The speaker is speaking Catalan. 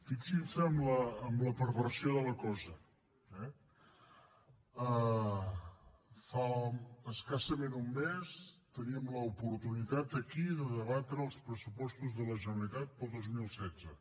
fixin se en la perversió de la cosa eh fa escassament un mes teníem l’oportunitat aquí de debatre els pressupostos de la generalitat per al dos mil setze